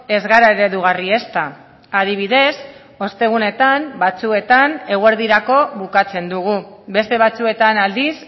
ez gara eredugarri ezta adibidez ostegunetan batzuetan eguerdirako bukatzen dugu beste batzuetan aldiz